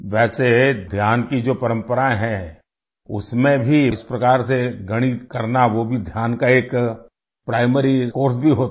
वैसे ध्यान की जो परंपरा है उसमें भी इस प्रकार से गणित करना वो भी ध्यान का एक प्राइमरी कोर्स भी होता है